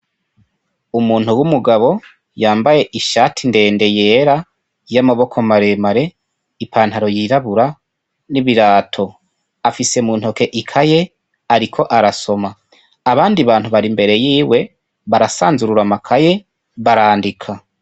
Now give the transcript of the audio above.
Umuntu w'umugabo, yambaye ishati ndende yera, y'amaboko maremare, ipantaro yirabura, n'ibirato. Afise muntoke ikaye, ariko arasoma. Abandi bantu bari imbere yiwe, barasanzurura amakaye, barandika.